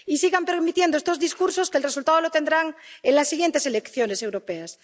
Y sigan permitiendo estos discursos que el resultado lo tendrán en las siguientes elecciones europeas.